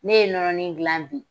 Ne ye nɔnɔnin dilan bi